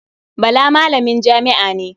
Bala malamin jami'a ne.